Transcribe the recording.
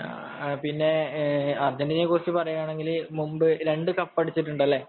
പിന്നെ അതിനെക്കുറിച്ചു പറയാണെങ്കിൽ മുൻപ് രണ്ടു കപ്പ് അടിച്ചിട്ടുണ്ടല്ലേ